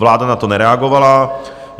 Vláda na to nereagovala.